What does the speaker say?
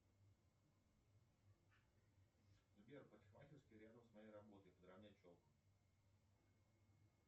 сбер парикмахерские рядом с моей работой подровнять челку